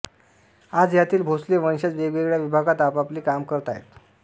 आज यातील भोसले वंशज वेगवेगळ्या विभागात आपआपले काम करत आहेत